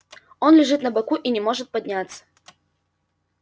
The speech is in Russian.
он лежит на боку и не может подняться